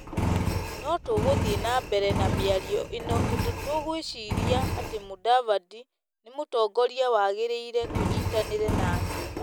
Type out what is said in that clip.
No tũgũthiĩ na mbere na mĩario ĩno tondũ tũgwĩciiria atĩ Mũdavadi nĩ mũtongoria wagĩrĩire tũnyitanĩre nake.